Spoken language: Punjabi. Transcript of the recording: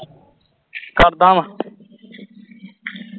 ਕਰਦਾਂ ਵਾ